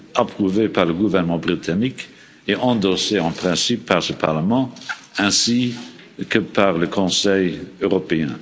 approuvé par le gouvernement britannique et endossé en principe par ce Parlement, ainsi que par le Conseil européen.